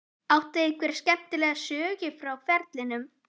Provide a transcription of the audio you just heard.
Áttu einhverja skemmtilega sögu frá ferlinum?